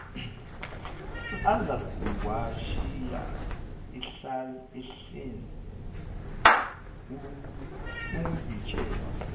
uzakuwashiya ehlane ungitshela